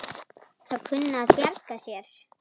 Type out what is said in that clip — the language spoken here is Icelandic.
Að kunna að bjarga sér!